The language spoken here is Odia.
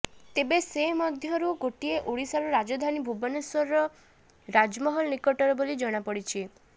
ତେବେ ସେ ମଧ୍ୟରୁ ଗୋଟିଏ ଓଡ଼ିଶାର ରାଜଧାନୀ ଭୁବନେଶ୍ୱରର ରାଜମହଲ ନିକଟର ବୋଲି ଜଣାପଡ଼ିଛି